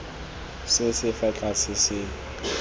se se fa tlase se